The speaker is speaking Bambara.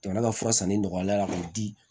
Jamana ka fura sanni nɔgɔyara ka di